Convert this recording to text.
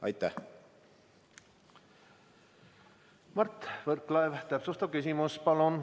Mart Võrklaev, täpsustav küsimus, palun!